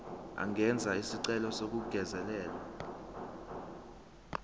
angenza isicelo sokungezelelwa